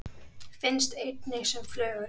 Finnst einnig sem flögur.